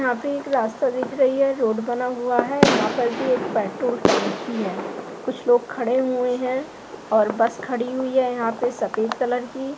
यहाँ पे एक रास्ता दिख रही है रोड बना हुआ है यह यहाँ पर भी एक पेट्रोल टंकी है कुछ लोग खड़े हुए हैंऔर बस खड़ी हुई है यहाँ पे सफेद कलर की--